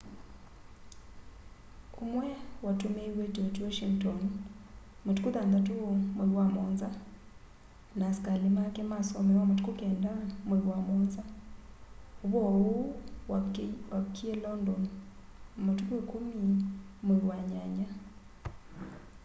umwe watumiiwe george washington matũkũ 6 mwai wa 7 na asikali make masomewa matũkũ 9 mwai wa 7 ũvoo uũ wavikie london matũkũ 10 mwai wa nyanya